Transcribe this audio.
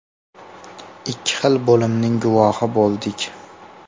Ikki xil bo‘limning guvohi bo‘ldik.